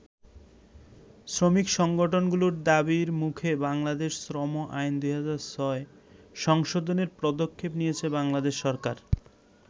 শ্রমিক সংগঠনগুলোর দাবির মুখে বাংলাদেশ শ্রম আইন ২০০৬ সংশোধনের পদক্ষেপ নিয়েছে বাংলাদেশ সরকার।